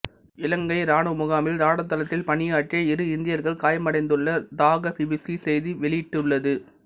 இலங்கை இராணுவ முகாமில் ராடர் தளத்தில் பணியாற்றிய இரு இந்தியர்கள் காயமடைந்துள்ளதாக பிபிசி செய்தி வெளியிட்டுள்ளது